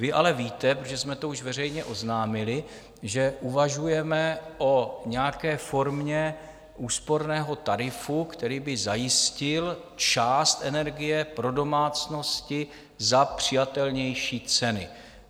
Vy ale víte, protože už jsme to veřejně oznámili, že uvažujeme o nějaké formě úsporného tarifu, který by zajistil část energie pro domácnosti za přijatelnější ceny.